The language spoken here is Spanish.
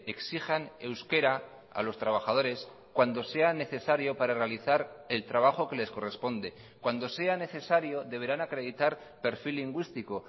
exijan euskera a los trabajadores cuando sea necesario para realizar el trabajo que les corresponde cuando sea necesario deberán acreditar perfil lingüístico